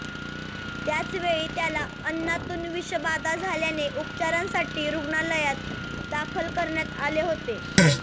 त्याचवेळी त्याला अन्नातून विषबाधा झाल्याने उपचारांसाठी रुग्णालयात दाखल करण्यात आले होते